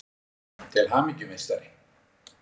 Til hamingju meistari!